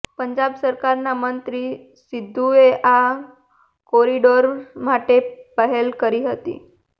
પંજાબ સરકારના મંત્રી સિદ્ધુએ આ કોરિડોર માટે પહેલ કરી હતી